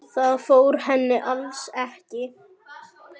Það fór henni alls ekki.